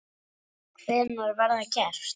Hvenær var það gert?